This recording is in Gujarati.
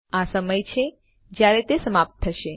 આ સમય છે જયારે તે સમાપ્ત થશે